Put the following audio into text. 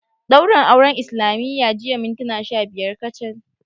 Daurin auren islamiyya jiya mintuna sha biyar kacal